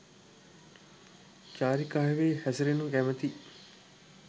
චාරිකාවෙහි හැසිරෙනු කැමැති